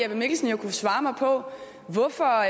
jeppe mikkelsen jo kunne svare mig på hvorfor